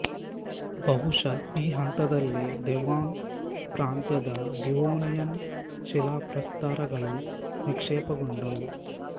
ಬಹುಶ ಈ ಹಂತದಲ್ಲೇ ಡೆವಾನ್ ಪ್ರಾಂತ್ಯದ ಡಿವೋನಿಯನ್ ಶಿಲಾಪ್ರಸ್ತರಗಳು ನಿಕ್ಷೇಪಗೊಂಡವು